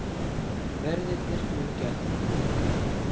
Verðirnir munu gæta þín.